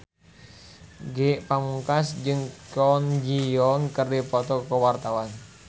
Ge Pamungkas jeung Kwon Ji Yong keur dipoto ku wartawan